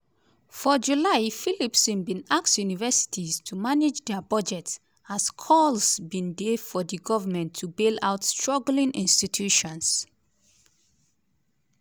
for july phillipson bin ask universities to “manage dia budgets” as calls bin dey for di government to bail out struggling institutions.